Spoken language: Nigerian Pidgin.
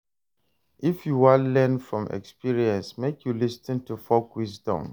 I hear sey folk wisdom dey teach pipo how to solve problem wit common sense.